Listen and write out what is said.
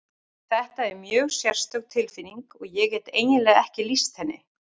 Þetta er mjög sérstök tilfinning og ég get eiginlega ekki lýst henni.